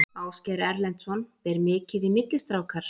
Ásgeir Erlendsson: Ber mikið í milli strákar?